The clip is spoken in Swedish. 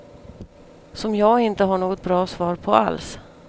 Som jag inte har något bra svar på alls.